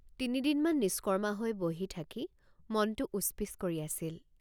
তিনিদিনমান নিষ্কৰ্মা হৈ বহি থাকি মনটো উচ্ পিচ্ কৰি আছিল।